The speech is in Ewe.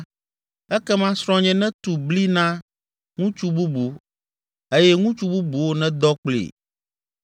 ekema srɔ̃nye netu bli na ŋutsu bubu eye ŋutsu bubuwo nedɔ kplii.